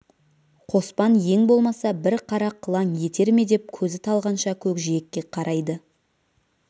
қоспан ең болмаса бір қара қылаң етер ме деп көзі талғанша көкжиекке қарайды